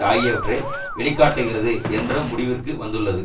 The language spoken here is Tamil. ஆகியவற்றை வெளி காட்டுகிறது என்ற முடிவிற்கு வந்துள்ளது